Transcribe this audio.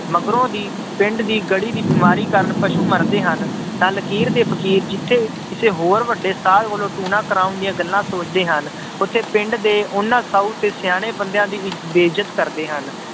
ਮਗਰੋਂ ਦੀ ਪਿੰਡ ਦੀ ਗੜੀ ਦੀ ਬਿਮਾਰੀ ਕਾਰਨ ਪਸੂ ਮਰਦੇ ਹਨ, ਤਾਂ ਲਕੀਰ ਦੇ ਫ਼ਕੀਰ ਜਿੱਥੇ ਕਿਸੇ ਹੋਰ ਵੱਡੇ ਸਾਧ ਕੋਲੋਂ ਟੂਣਾ ਕਰਵਾਉਣ ਦੀਆਂ ਗੱਲਾਂ ਸੋਚਦੇ ਹਨ ਉੱਥੇ ਪਿੰਡ ਦੇ ਉਹਨਾਂ ਸਾਊ ਤੇ ਸਿਆਣੇ ਬੰਦਿਆਂ ਦੀ ਇ~ ਬੇਇਜਤ ਕਰਦੇ ਹਨ